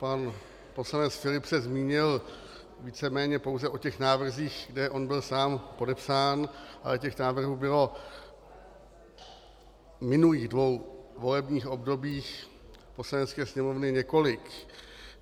Pan poslanec Filip se zmínil víceméně pouze o těch návrzích, kde on sám byl podepsán, ale těch návrhů bylo v minulých dvou volebních obdobích Poslanecké sněmovny několik.